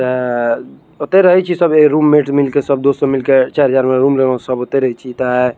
ओते रही छे सब रूममेट मिल कर सब दोस्त मिल के चार हजार में रूम ले कर --